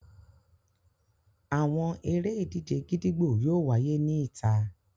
Àwọn ere-idije gídígbò yóò wáyé ní ìta.